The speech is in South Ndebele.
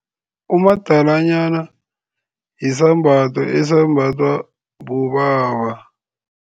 Umadalanyana yisambatho esembathwa bobaba.